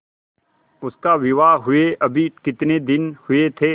उसका विवाह हुए अभी कितने दिन हुए थे